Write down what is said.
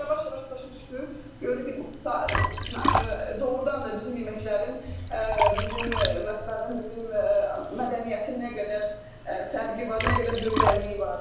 Sonra yavaş-yavaş başa düşdü, gördü ki, doğrudan da bizim yeməklərin, bizim mətbəxin, bizim mədəniyyətin nə qədər fərqi var, nə qədər gözəlliyi var.